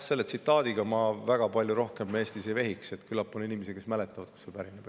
Selle tsitaadiga ma väga palju rohkem Eestis ei vehiks, küllap on inimesi, kes mäletavad, kust see pärineb.